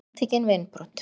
Handtekinn við innbrot